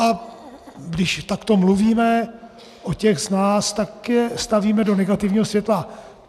A když takto mluvíme o těch z nás, tak je stavíme do negativního světla.